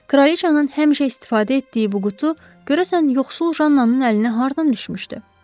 Kralıçanın həmişə istifadə etdiyi bu qutu görəsən yoxsul Jannanının əlinə hardan düşmüşdü?